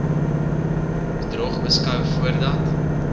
bedrog beskou voordat